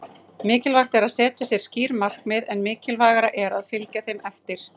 Mikilvægt er að setja sér skýr markmið- enn mikilvægara er að fylgja þeim eftir.